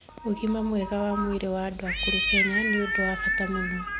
Ũgima mwega wa mwĩrĩ wa andũ akũrũ Kenya nĩ ũndũ wa bata mũno